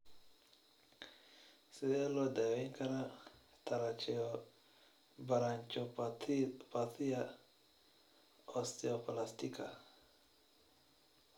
Sidee loo daweyn karaa tracheobronchopathia osteoplastica?